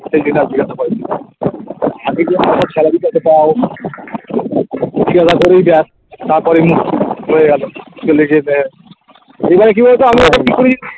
আর জিজ্ঞাসা করেনি salary কত পাও তারপরেই হয়ে গেলো এবারে কি বলোতো আমি